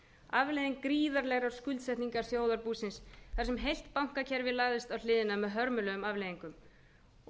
afleiðing gríðarlegar skuldsetningar þjóðarbúsins þar sem heilt bankakerfi lagðist á hliðina með hörmulegum afleiðingum auð